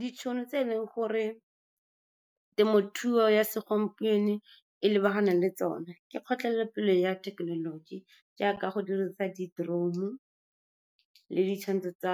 Ditšhono tse e leng gore temothuo ya segompieno e lebaganeng le tsone ke kgotlelelo pelo ya thekenoloji, jaaka go dirisa di-drone le di-channel-e tsa